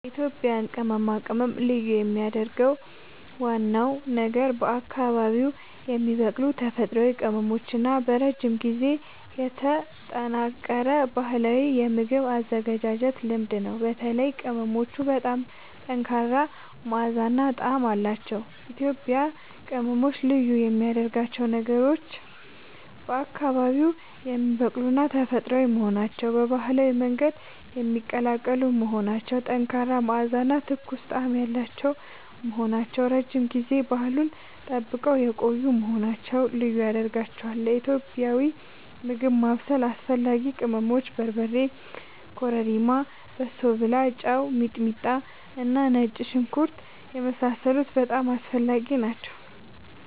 የኢትዮጵያ ቅመማ ቅመም ልዩ የሚያደርገው ዋናው ነገር በአካባቢዉ የሚበቅሉ ተፈጥሯዊ ቅመሞች እና በረጅም ጊዜ የተጠናከረ ባህላዊ የምግብ አዘገጃጀት ልምድ ነው። በተለይም ቅመሞቹ በጣም ጠንካራ መዓዛ እና ጣዕም አላቸዉ። ኢትዮጵያዊ ቅመሞች ልዩ የሚያደርጋቸው ነገሮች፦ በአካባቢዉ የሚበቅሉና ተፈጥሯዊ መሆናቸዉ፣ በባህላዊ መንገድ የሚቀላቀሉ መሆናቸዉ፣ ጠንካራ መዓዛ እና ትኩስ ጣዕም ያላቸዉ መሆናቸዉ፣ ረዥም ጊዜ ባህሉን ጠብቀዉ የቆዪ መሆናቸዉ ልዪ ያደርጋቸዋል። ለኢትዮጵያዊ ምግብ ማብሰል አስፈላጊ ቅመሞች፦ በርበሬ፣ ኮረሪማ፣ በሶብላ፣ ጨዉ፣ ሚጥሚጣና ነጭ ሽንኩርት የመሳሰሉት በጣም አስፈላጊ ናቸዉ